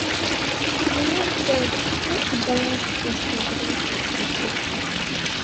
tonight we roast veg make e balance the pasta we don chop before.